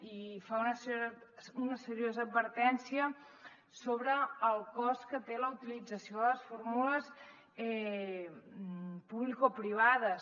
i fa una seriosa advertència sobre el cost que té la utilització de les fórmules publicoprivades